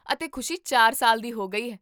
ਅਤੇ ਖੁਸ਼ੀ ਚਾਰ ਸਾਲ ਦੀ ਹੋ ਗਈ ਹੈ